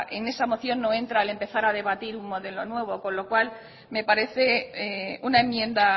en esa moción no entra el empezar a debatir un modelo nuevo con lo cual me parece una enmienda